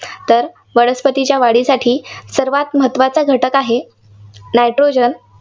तर वनस्पतीच्या वाढीसाठी सर्वांत महत्त्वाचा घटक आहे, nitrogen